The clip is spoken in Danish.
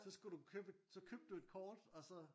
Så skulle du købe et så købte du et kort og så